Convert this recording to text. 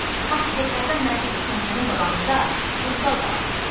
Partbiletlərdən Mərkəzi Komitənin qabağında tonqal qalamışdılar.